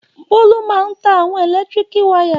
Bólú máa ń ta àwọn ẹ̀lẹ́tíríkì wayà.